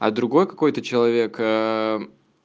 а другой какой-то человек ээ